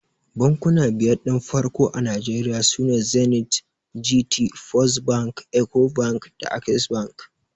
Bankuna biyar din farko a Nigeria sune Zenith, Gt, First bank, Ecobank da Access bank.